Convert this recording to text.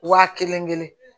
Wa kelen kelen